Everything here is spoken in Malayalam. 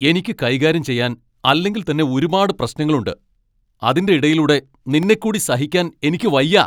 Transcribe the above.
എനിക്ക് കൈകാര്യം ചെയ്യാൻ അല്ലെങ്കിൽത്തന്നെ ഒരുപാട് പ്രശ്നങ്ങളുണ്ട്, അതിൻ്റെ ഇടയിലൂടെ നിന്നെക്കൂടി സഹിക്കാൻ എനിക്ക് വയ്യ!